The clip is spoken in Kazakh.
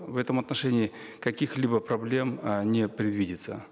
в этом отношении каких либо проблем э не предвидится